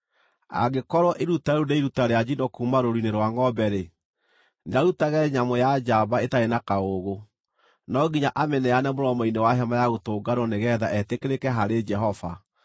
“ ‘Angĩkorwo iruta rĩu nĩ iruta rĩa njino kuuma rũũru-inĩ rwa ngʼombe-rĩ, nĩarutage nyamũ ya njamba ĩtarĩ na kaũũgũ. No nginya amĩneane mũromo-inĩ wa Hema-ya-Gũtũnganwo nĩgeetha etĩkĩrĩke harĩ Jehova.